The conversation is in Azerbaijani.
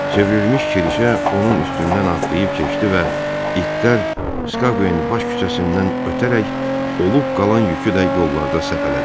Çevrilmiş kirişə onun üstündən atlayıb keçdi və itlər Skaqveyin baş küçəsindən ötərək, olub qalan yükü də yollarda səpələdilər.